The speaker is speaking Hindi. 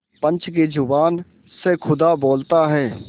पंच की जबान से खुदा बोलता है